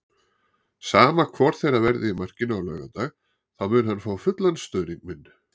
Sama hvor þeirra verði í markinu á laugardag þá mun hann fá fullan stuðning minn.